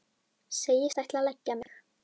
Segist ætla að leggja mig.